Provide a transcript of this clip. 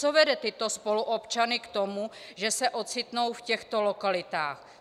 Co vede tyto spoluobčany k tomu, že se ocitnou v těchto lokalitách?